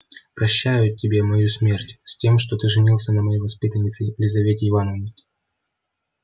прощаю тебе мою смерть с тем что ты женился на моей воспитаннице елизавете ивановне